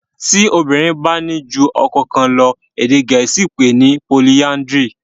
tí obirin bá ní jù ọkọ kán lọ èdè gèésì pé ni polyandry.